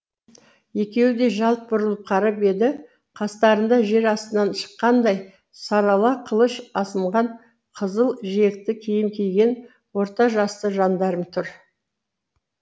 екеуі де жалт бұрылып қарап еді қастарында жер астынан шыққандай сарала қылыш асынған қызыл жиекті киім киген орта жасты жандарм тұр